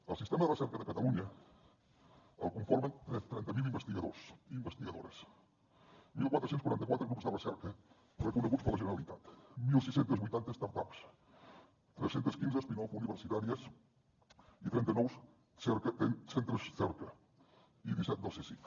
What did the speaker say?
el sistema de recerca de catalunya el conformen trenta investigadors i investigadores catorze quaranta quatre grups de recerca reconeguts per la generalitat setze vuitanta start ups tres cents i quinze off universitàries i trenta nous centres cerca i disset del csic